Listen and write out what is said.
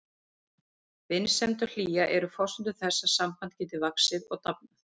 Vinsemd og hlýja eru forsendur þess að samband geti vaxið og dafnað.